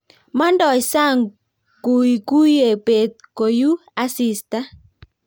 Mangdoi sang' kuikuie beet koyuu asista